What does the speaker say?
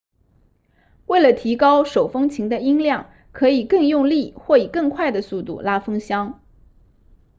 为了提高手风琴的音量可以更用力或以更快的速度拉风箱